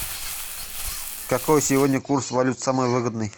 какой сегодня курс валют самый выгодный